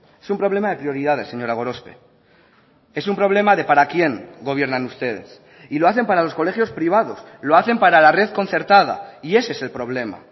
es un problema de prioridades señora gorospe es un problema de para quién gobiernan ustedes y lo hacen para los colegios privados lo hacen para la red concertada y ese es el problema